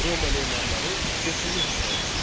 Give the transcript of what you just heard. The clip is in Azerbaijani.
Roma memarları betonu ixtira etdilər.